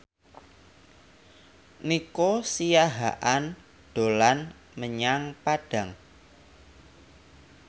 Nico Siahaan dolan menyang Padang